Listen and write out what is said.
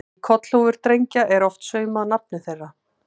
Í kollhúfur drengja er oft saumað nafnið þeirra.